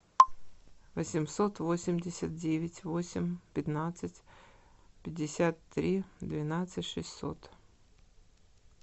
восемьсот восемьдесят девять восемь пятнадцать пятьдесят три двенадцать шестьсот